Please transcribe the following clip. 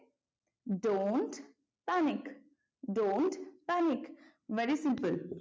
don't panic, don't panic very simple